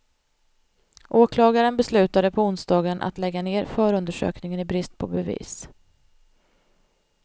Åklagaren beslutade på onsdagen att lägga ner förundersökningen i brist på bevis.